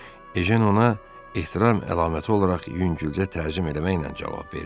Ejen ona ehtiram əlaməti olaraq yüngülcə təzim eləməklə cavab verdi.